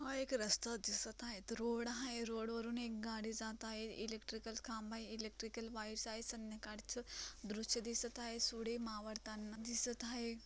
हा एक रस्ता दिसत रोड हाय रोड वर रोड वरून एक गाडी जात आहे इलेक्ट्रिकल खांब आहे इलेक्ट्रिकल वायर्स संद्याकाळ च दृश्य दिसत आहे सूर्य मावळतांना दिसत हाय.